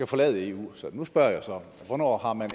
forlade eu så nu spørger jeg hvornår har man